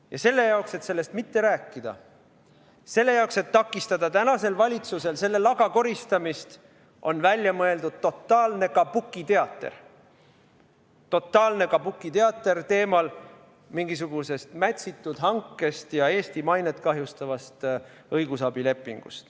Ja selle jaoks, et sellest mitte rääkida, selle jaoks, et takistada tänasel valitsusel selle laga koristamist, on välja mõeldud totaalne kabukiteater – totaalne kabukiteater, mille teema on mingisugune mätsitud hange ja Eesti mainet kahjustav õigusabileping.